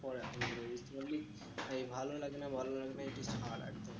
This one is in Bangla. পড়া এই ভালো লাগে না ভালো লাগে না এইটাকে ছাড় আর কি